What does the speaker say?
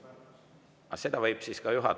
Aga seda võib siis ka juhatajale …